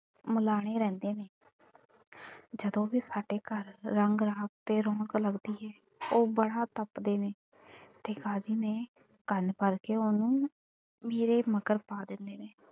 ਮਿਲਾਣੇ ਰਹਿੰਦੇ ਨੇ ਜਦੋਂ ਵੀ ਸਾਡੇ ਘਰ ਰੰਗ ਰਾਸ ਤੇ ਰੌਣਕ ਲੱਗਦੀ ਏ, ਉਹ ਬੜਾ ਤੱਪਦੇ ਨੇ ਤੇ ਕਾਜ਼ੀ ਨੇ ਕੰਨ ਫੜ ਕੇ ਉਹਨੂੰ ਮੇਰੇ ਮਗਰ ਪਾ ਦਿੰਦੇ ਨੇ।